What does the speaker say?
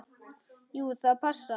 Jú, það passar.